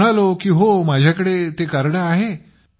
मग मी म्हणालो की हो माझ्याकडे कार्ड आहे